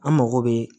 An mago bɛ